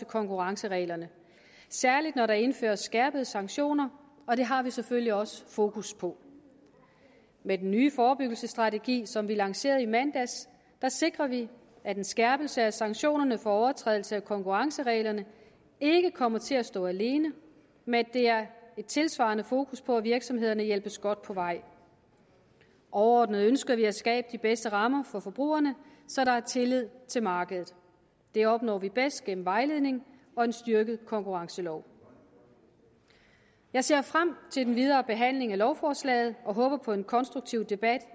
konkurrencereglerne særlig når der indføres skærpede sanktioner og det har vi selvfølgelig også fokus på med den nye forebyggelsesstrategi som vi lancerede i mandags sikrer vi at en skærpelse af sanktionerne for overtrædelse af konkurrencereglerne ikke kommer til at stå alene men at et tilsvarende fokus på at virksomhederne hjælpes godt på vej og overordnet ønsker vi at skabe de bedste rammer for forbrugerne så der er tillid til markedet det opnår vi bedst gennem vejledning og en styrket konkurrencelov jeg ser frem til den videre behandling af lovforslaget og håber på en konstruktiv debat